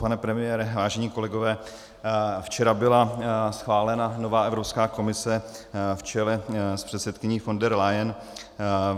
Pane premiére, vážení kolegové, včera byla schválena nová Evropská komise v čele s předsedkyní von der Leyen.